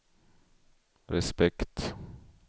respekt